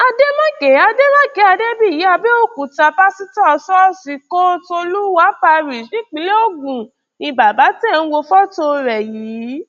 adémákè adémákè adébíyì àbẹòkúta páṣítọ ṣọọṣì olúwa parish nípìnlẹ ogun ni bàbá tẹ́ ẹ ń wo fọtò rẹ̀ yìí